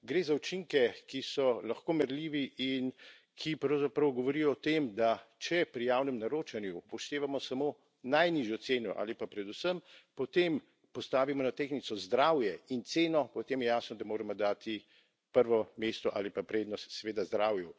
Gre za učinke, ki so lahko merljivi, in ki pravzaprav govorijo o tem, da če pri javnem naročanju upoštevamo samo najnižjo ceno ali pa predvsem po tem postavimo na tehtnico zdravje in ceno, potem je jasno, da moramo dati prvo mesto ali pa prednost seveda zdravju.